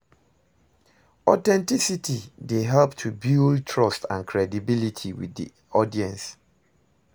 Authenticity dey help to build trust and credibility with di audience.